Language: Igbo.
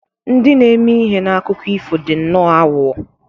Ndị na-eme ihe na akụkọ ifo dị nnọọ aghụghọ.